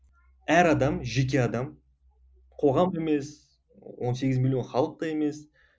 әр адам жеке адам қоғам да емес он сегіз миллион халық та емес